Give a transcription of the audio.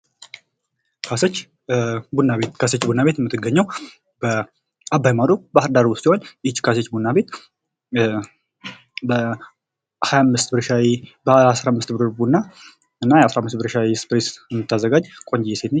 ካሳች ቡና ቤት። ካሰች ቡና ቤት የምትገኘው አባይ ማዶ ባህር ዳር ውስጥ ሲሆን ካሰች ቡና ቤት በሀያ አምስት ብር ሻሂ በአስራምስት ብር ቡናና ሻይ ስፕሪስ የምታዘጋጅ ቆንጅዬ ሴት ናት።